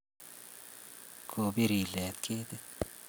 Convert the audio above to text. Ko bir ilet ketit